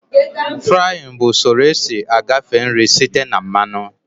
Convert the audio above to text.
Fraaịn bụ usoro esi agafe nri site na mmanụ